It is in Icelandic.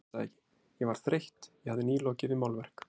Ég gat það ekki, ég var þreytt, ég hafði nýlokið við málverk.